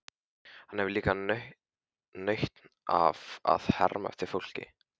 Hann hefur líka nautn af að herma eftir fólki.